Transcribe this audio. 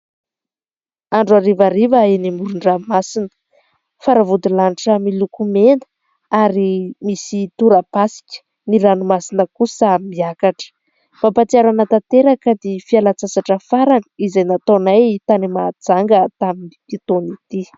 Andro harivariva eny amoron-dranomasina. Faravodilanitra miloko mena ary misy torapasika. Ny ranomasina kosa miakatra. Mampahatsiaro ahy tanteraka ny fialan-tsasatra farany izay nataonay tany Mahajanga tamin'ity taona ity.